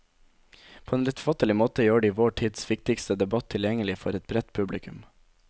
På en lettfattelig måte gjør de vår tids viktigste debatt tilgjengelig for et bredt publikum.